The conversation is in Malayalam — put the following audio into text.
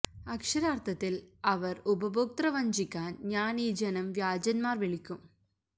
അക്ഷരാർത്ഥത്തിൽ അവർ ഉപഭോക്തൃ വഞ്ചിക്കാൻ ഞാൻ ഈ ജനം വ്യാജന്മാർ വിളിക്കും